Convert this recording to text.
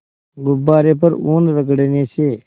गुब्बारे पर ऊन रगड़ने से